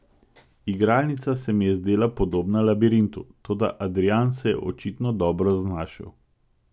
Igralnica se mi je zdela podobna labirintu, toda Adrijan se je očitno dobro znašel.